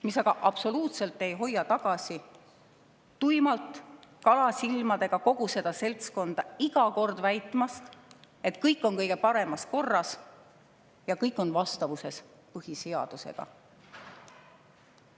See aga absoluutselt ei hoia tagasi kogu seda kalasilmadega seltskonda iga kord tuimalt väitmast, et kõik on kõige paremas korras ja kõik on vastavuses põhiseadusega.